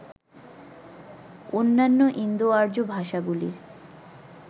অন্যান্য ইন্দোআর্য ভাষাগুলির